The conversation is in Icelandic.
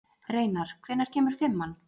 Reinar, hvenær kemur fimman?